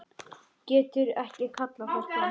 Getur ekki kallað þær fram.